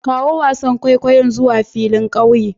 Kawo wasan kwaikwayon zuwa filin ƙauye